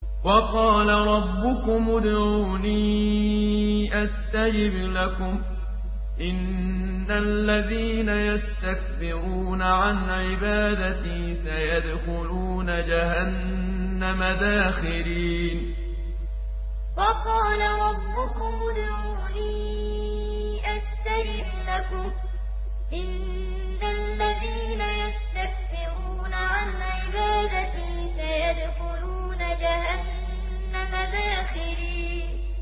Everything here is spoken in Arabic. وَقَالَ رَبُّكُمُ ادْعُونِي أَسْتَجِبْ لَكُمْ ۚ إِنَّ الَّذِينَ يَسْتَكْبِرُونَ عَنْ عِبَادَتِي سَيَدْخُلُونَ جَهَنَّمَ دَاخِرِينَ وَقَالَ رَبُّكُمُ ادْعُونِي أَسْتَجِبْ لَكُمْ ۚ إِنَّ الَّذِينَ يَسْتَكْبِرُونَ عَنْ عِبَادَتِي سَيَدْخُلُونَ جَهَنَّمَ دَاخِرِينَ